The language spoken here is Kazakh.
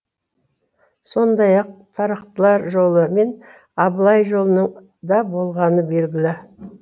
сондай ақ тарақтылар жолы мен абылай жолының да болғаны белгілі